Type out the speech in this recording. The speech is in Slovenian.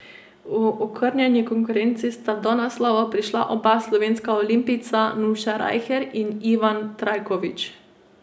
V okrnjeni konkurenci sta do naslovov prišla oba slovenska olimpijca Nuša Rajher in Ivan Trajkovič.